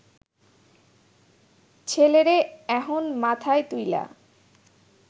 ছেলেরে এহন মাথায় তুইলা